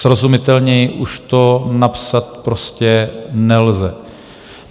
Srozumitelněji už to napsat prostě nelze.